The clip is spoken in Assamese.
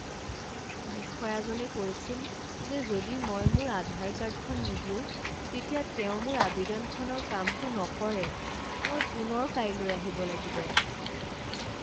বিষয়াজনে কৈছিল যে যদি মই মোৰ আধাৰ কাৰ্ডখন নিদিও তেতিয়া তেওঁ মোৰ আৱেদনখনৰ কামটো নকৰে। মই পুনৰ কাইলৈ আহিব লাগিব।